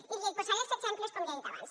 i li’n posaré els exemples com ja he dit abans